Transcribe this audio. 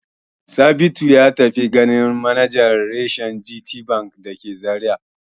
Sabitu ya tafi ganin manajan reshen GTBank da ke Zariya.